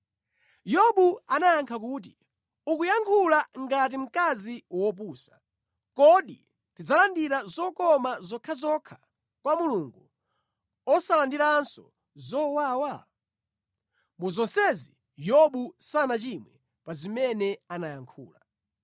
Yobu anayankha kuti, “Ukuyankhula ngati mkazi wopusa. Kodi tidzalandira zokoma zokhazokha kwa Mulungu, osalandiranso zowawa?” Mu zonsezi, Yobu sanachimwe pa zimene anayankhula.